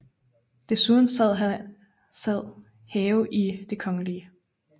Desuden sad Have i Det Kgl